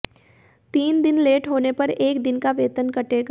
तीन दिन लेट होने पर एक दिन का वेतन कटेगा